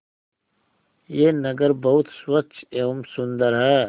यह नगर बहुत स्वच्छ एवं सुंदर है